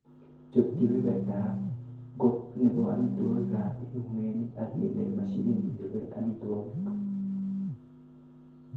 Chob kebebertab got nebo amitwogik ab ingogenik ak indee mashinit nechobe amitwogik.